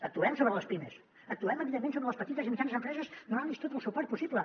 actuem sobre les pimes actuem evidentment sobre les petites i mitjanes empreses donant los tot el suport possible